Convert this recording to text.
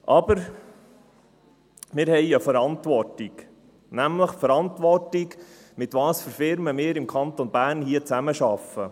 Aber wir haben eine Verantwortung – die Verantwortung nämlich, zu überlegen, mit welchen Firmen wir im Kanton Bern zusammenarbeiten.